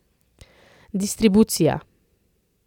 Distribucija.